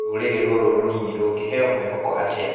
Rũrĩrĩ rũrũ rũnini rũngĩheo mwĩhoko atĩa?